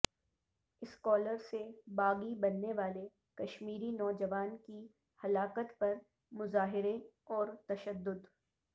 scholar سے باغی بننے والے کشمیری نوجوان کی ہلاکت پر مظاہرے اور تشدد